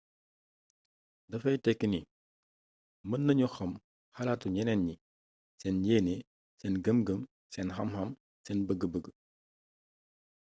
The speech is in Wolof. dafay teki ni mën nañu xam xalatu ñeneen ñi seen yeene sen gëm gëm, seen xam xam seen bëg-bëg